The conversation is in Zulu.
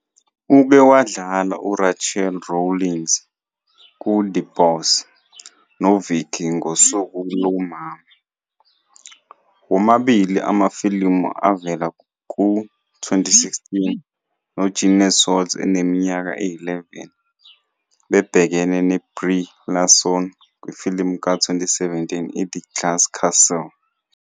Uke wadlala uRachel Rawlings "kuThe Boss",noVicky "ngoSuku Lomama", womabili amafilimu avela ku-2016, noJeanette Walls eneminyaka eyi-11 bebhekene noBrie Larson kwifilimu ka-2017 "iThe Glass Castle."